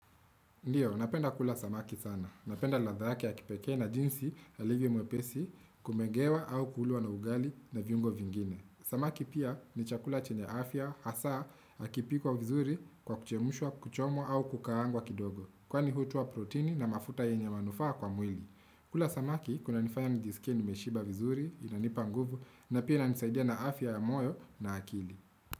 Ndiyo, napenda kula samaki sana. Napenda ladha yake ya kipeke na jinsi halivo mwepesi kumengewa au kulwa na ugali na vyungo vingine. Samaki pia ni chakula chene afya hasa akipikuwa vizuri kwa kuchemushwa kuchomo au kukaangwa kidogo. Kwa ni hutua protini na mafuta yenye manufaa kwa mwili. Kula samaki, kuna nifanya nijisikia nimeshiba vizuri, inanipa nguvu, na pia nisaidia na afya ya moyo na akili.